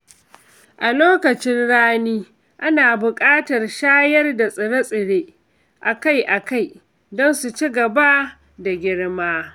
A lokacin rani, ana buƙatar shayar da tsire-tsire a kai a kai don su ci gaba da girma.